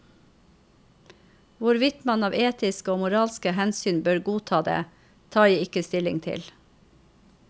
Hvorvidt man av etiske og moralske hensyn bør godta det, tar jeg ikke stilling til.